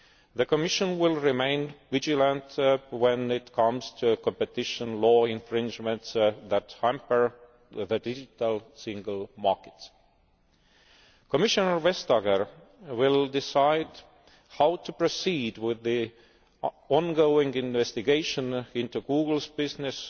The Commission will remain vigilant when it comes to competition law infringements that hamper the Digital Single Market. Commissioner Vestager will decide how to proceed with the ongoing investigation into Google's business